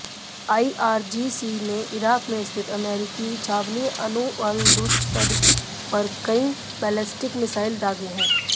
IRGC ने Iraq में स्थित अमरीकी छावनी एनुलअसद पर कई बैलेस्टिक मिसाइल दागे हैं